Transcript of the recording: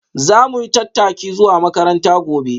Za mu yi tattaki zuwa makaranta gobe.